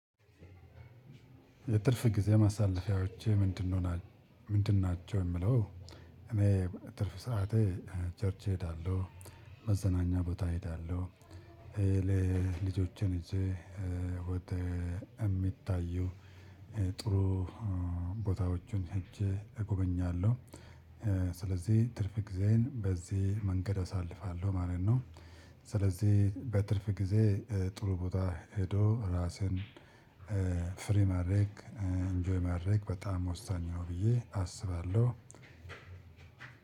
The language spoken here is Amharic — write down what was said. የትርፍ ጊዜ ማሳለፊያዎቼ ምንድን ናቸው? የምለው እኔ ትርፍ ሰዓቴ ቸርች እሄዳለሁ። መዘናኛ ቦታ እሄዳለሁ። ለልጆቼን ይዥ ወደ የሚታዩ ጥሩ ቦታዎቹን ሄጄ እጎበኛለሁ። ስለዚህ ትርፍ ጊዜዬን በዚህ መንገድ አሳልፋለሁ ማለት ነው። ስለዚህ በትርፍ ጊዜ ጥሩ ቦታ ሄዶ ራስን- ፍሪ ማድረግ ኢንጆይ ማድረግ በጣም ወሳኝ ነው ብዬ አስባለሁ።